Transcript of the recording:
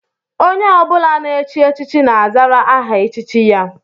Onye ọ bụla na-echi echichi na-azara aha echichi ya